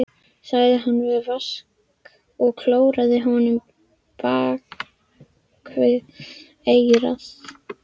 sagði hann við Vask og klóraði honum bak við eyrað.